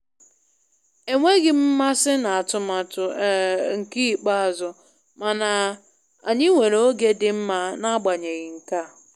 Enweghị m mmasị n'atụmatụ um nke ikpeazụ, mana anyị nwere oge dị mma n'agbanyeghị nkea